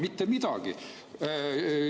Mitte midagi!